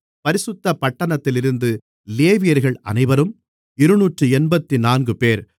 பரிசுத்த பட்டணத்திலிருந்த லேவியர்கள் அனைவரும் இருநூற்று எண்பத்துநான்குபேர்